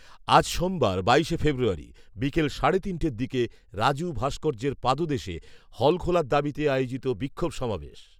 আজ সোমবার, বাইশে ফেব্রুয়ারি, বিকেল সাড়ে তিনটের দিকে রাজু ভাস্কর্যের পাদদেশে, হল খোলার দাবিতে আয়োজিত বিক্ষোভ সমাবেশ